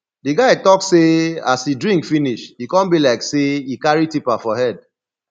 di guy talk sey as e drink finish e come be like sey e carry tipa for head